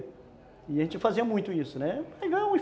E a gente fazia muito isso, né?